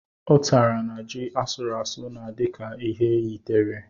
Utara na ji asụrụ asụ na-adi ka ha yitere.